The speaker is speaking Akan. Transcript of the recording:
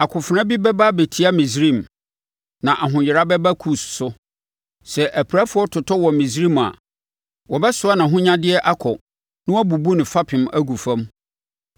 Akofena bi bɛba abɛtia Misraim, na ahoyera bɛba Kus so. Sɛ apirafoɔ totɔ wɔ Misraim a wɔbɛsoa nʼahonyadeɛ akɔ na wɔabubu ne fapem agu fam.